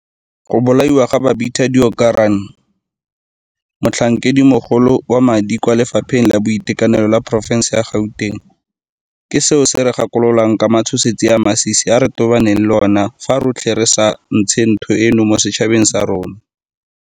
Go bolaiwa ga Babita Deokaran, motlhankedimogolo wa madi kwa Lefapheng la Boitekanelo la porofense ya Gauteng, ke seo se re gakololang ka matshosetsi a a masisi a re tobaneng le ona fa rotlhe re sa ntshe ntho eno mo setšhabeng sa rona.